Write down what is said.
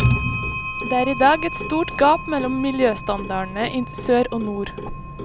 Det er i dag et stort gap mellom miljøstandardene i sør og nord.